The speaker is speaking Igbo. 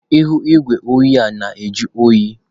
Ihu igwe oyi a na-ajụ oyi.